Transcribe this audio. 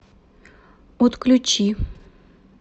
отключи